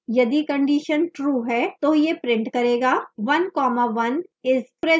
यदि condition true है तो यह print करेगा one comma one is present